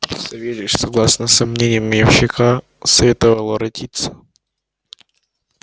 савельич согласно со мнением ямщика советовал воротиться